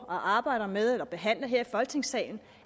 arbejder med og behandler her i folketingssalen